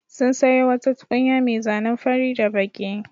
Sun sayo wata tukunya mai zanen fari da baƙi.